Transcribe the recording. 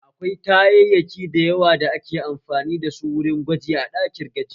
Akwai kayaki da yawa da ake amfani dasu wurin gwaji a ɗakin gwaji